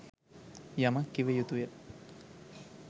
යමක් කිව යුතුය.